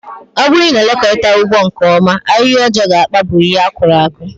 Ọ bụrụ na elekọtaghi ugbo nke ọma, ahịhịa ọjọọ ga-akpagbụ ihe akuru aku